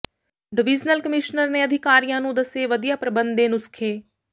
divisional commissioner ਨੇ ਅਧਿਕਾਰੀਆਂ ਨੂੰ ਦੱਸੇ ਵਧੀਆ ਪ੍ਰਬੰਧ ਦੇ ਨੁਸਖ਼ੇ